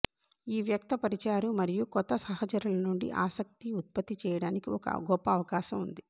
ఈ వ్యక్తపరిచారు మరియు కొత్త సహచరులు నుండి ఆసక్తి ఉత్పత్తి చేయడానికి ఒక గొప్ప అవకాశం ఉంది